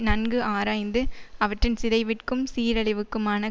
நன்கு ஆராய்ந்து அவற்றின் சிதைவிற்க்கும் சீரழிவுக்குமான